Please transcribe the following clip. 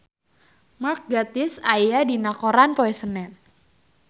Mark Gatiss aya dina koran poe Senen